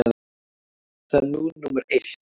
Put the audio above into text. Það er nú númer eitt.